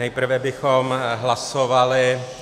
Nejprve bychom hlasovali -